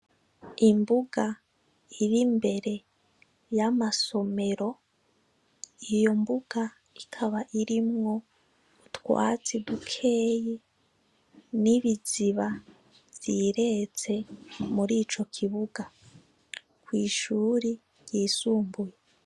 Imbuga iri imbere y' amasomero, iyo mbuga ikaba irimwo utwatsi dukeyi n' ibiziba vyireze muri ico kibuga kwi shuri ryisumbuye.